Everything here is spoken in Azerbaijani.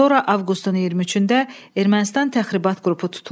Sonra avqustun 23-də Ermənistan təxribat qrupu tutulub.